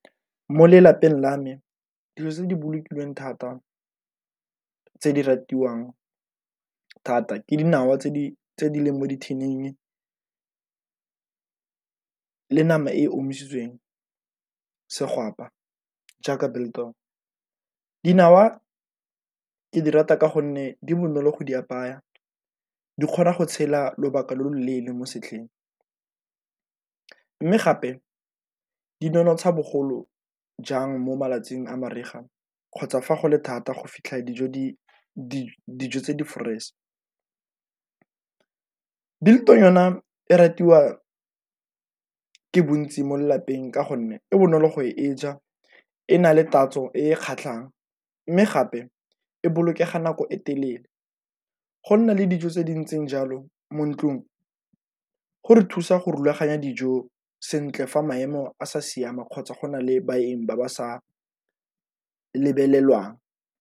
Mo lelapeng la me dilo tse di bolokilweng thata tse di ratiwang thata ke dinawa tse di leng mo di-tin-ing le nama e omisitsweng, segwapa jaaka biltong. Dinawa ke di rata ka gonne di bonolo go di apaya di kgona go tshela lobaka lo lo leele mo setlhareng, mme gape di nonotsha bogolo jang mo malatsing a mariga kgotsa fa go le thata go fitlha dijo tse di-fresh-e. Biltong yona e ratiwa ke bontsi mo lelapeng ka gonne e bonolo go e ja, e na le tatso e e kgatlhang, mme gape e bolokega nako e telele. Go nna le dijo tse di ntseng jalo mo ntlung go re thusa go rulaganya dijo sentle fa maemo a sa siama kgotsa go na le baeng ba ba sa lebelelwang.